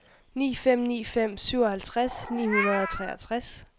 ni fem ni fem syvoghalvtreds ni hundrede og treogtres